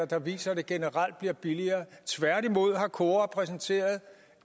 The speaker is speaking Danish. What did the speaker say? der viser at det generelt bliver billigere tværtimod har kora præsenteret